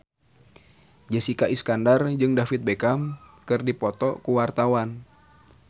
Jessica Iskandar jeung David Beckham keur dipoto ku wartawan